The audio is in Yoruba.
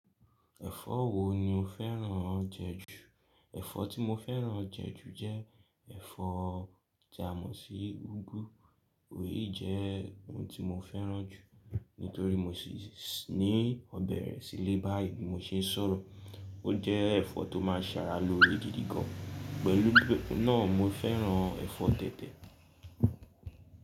Ẹ̀fọ́ wo ni o fẹ́ràn jẹ ju? Ẹ̀fọ́ tí mo fẹ́ràn jẹ ju jẹ́ ẹ̀fọ́ tí a mọ̀ sí úgú, òyí jẹ́ oun tí mo fẹ́ràn jù nítorí mo sì ní ọ̀bẹ rẹ̀ sílé báyìí bí mo ṣe ń sọ̀rọ̀. Ó jẹ́ ẹ̀fọ́ tó máa ń ṣàrà lo re gidí gan. Pẹ̀lú náà mo fẹ́ràn ẹ̀fọ́ tẹ̀tẹ̀.